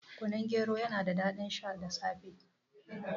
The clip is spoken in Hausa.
Kunun gero yana da daɗin sha da safe